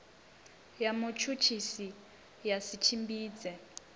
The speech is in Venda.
ya mutshutshisi ya si tshimbidze